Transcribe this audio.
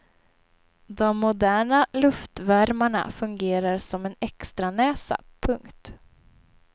De moderna luftvärmarna fungerar som en extranäsa. punkt